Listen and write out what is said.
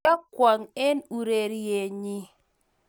kiokwong eng urerienyi.